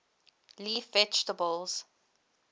leaf vegetables